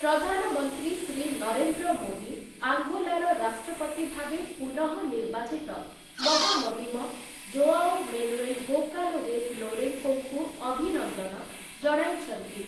ପ୍ରଧାନମନ୍ତ୍ରୀ ଶ୍ରୀ ନରେନ୍ଦ୍ର ମୋଦୀ ଆଙ୍ଗୋଲାର ରାଷ୍ଟ୍ରପତି ଭାବେ ପୁନଃ ନିର୍ବାଚିତ ମହାମହିମ ଜୋଆଓ ମେନୁଏଲ ଗୋଁକାଲୱେସ ଲୌରେଂକୋଙ୍କୁ ଅଭିନନ୍ଦନ ଜଣାଇଛନ୍ତି ।